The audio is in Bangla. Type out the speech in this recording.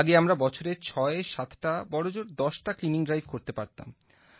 আগে আমরা বছরে ছয় সাতটা বড়জোর দশটা ক্লিনিং ড্রাইভ করতে পারতাম